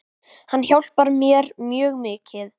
Hann hjálpar mér mjög mikið.